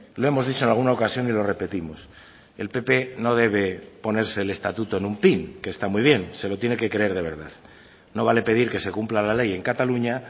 lo hemos dicho en alguna ocasión y lo repetimos el pp no debe ponerse el estatuto en un pin que está muy bien se lo tiene que creer de verdad no vale pedir que se cumpla la ley en cataluña